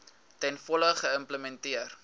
ten volle geïmplementeer